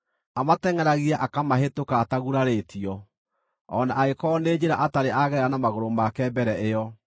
Amatengʼeragia, akamahĩtũka atagurarĩtio, o na angĩkorwo nĩ njĩra atarĩ agerera na magũrũ make mbere ĩyo.